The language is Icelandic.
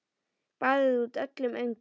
Baðaði út öllum öngum.